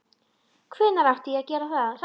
Hvenær átti ég að gera það?